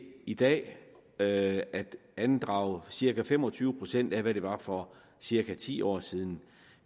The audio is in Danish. i dag at at andrage cirka fem og tyve procent af hvad det var for cirka ti år siden